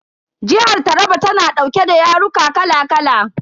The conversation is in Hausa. Jihar Taraba tana dauke da yaruka kala kala.